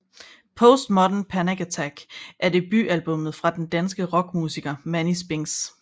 Post Modern Panic Attack er debutalbummet fra den danske rockmusiker Mani Spinx